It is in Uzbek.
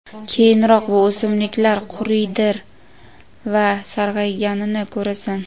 Keyinroq bu o‘simliklar quriydir va sarg‘ayganini ko‘rasan.